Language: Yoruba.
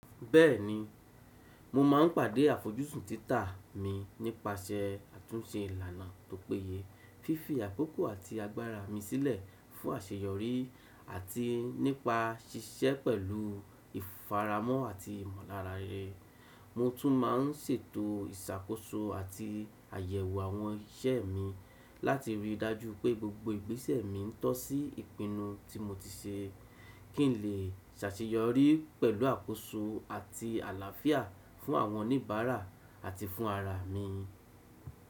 Bẹ́ẹ̀ni, mo máà ń pàdé àfojúsùn títà mi nípasẹ̀ àtúnse ìlànà tó péye, fífi àkókò àti agbára mi sílẹ̀ fún àṣeyọrí àti nípa ṣiṣẹ́ pẹ̀lúu ìfaramọ́ àti ìmọ̀lára re. Mo tún máà ń ṣètò ìṣàkóso àti àyẹ̀wò àwọn iṣẹ́ mi láti ríi dájú pé gbogbo ìgbésẹ̀ mi ń tọ́ sí ìpinnu tí mo ti ṣe, kí n lè ṣàṣeyọrí pẹ̀lú àkóso àti àlàáfíà fún àwọn oníbàárà àti fún ara à mi.